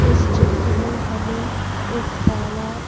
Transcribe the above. इस चित्र में हमें एक तालाब--